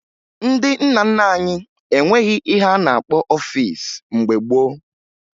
Ndị nna nna anyị enweghi ihe a na-akpọ ọfiisi mgbe gboo